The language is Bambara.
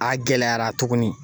A gɛlɛyara tuguni